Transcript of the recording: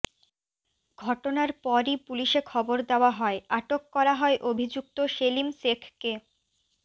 ঘটনার পরই পুলিশে খবর দেওয়া হয় আটক করা হয় অভিযুক্ত সেলিম শেখকে